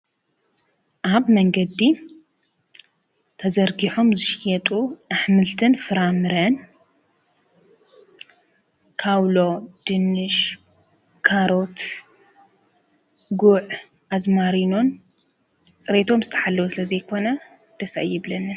ኣብ መንገዲ ተዘርጊሖም ዝሽየጡ ኣኅምልትን ፍራምርን ካውሎ ድንሽ ካሮት ጉዕ ኣዝማሪኖን ጽሬቶም ዝተሓለዎ ስለ ዘይኮነ ደሰ አይብለኒን።